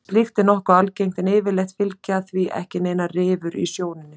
Slíkt er nokkuð algengt en yfirleitt fylgja því ekki neinar rifur í sjónunni.